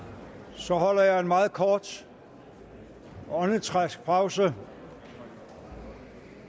så holder jeg en meget kort åndedrætspause